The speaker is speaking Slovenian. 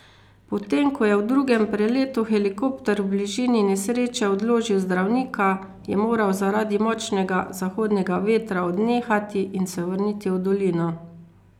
Potem ko je v drugem preletu helikopter v bližini nesreče odložil zdravnika, je moral zaradi močnega zahodnega vetra odnehati in se vrniti v dolino.